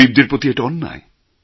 গরীবদের প্রতি এটা অন্যায়